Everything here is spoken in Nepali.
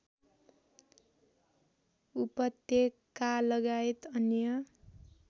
उपत्यकालगायत अन्य